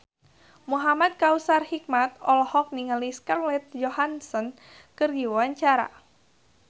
Muhamad Kautsar Hikmat olohok ningali Scarlett Johansson keur diwawancara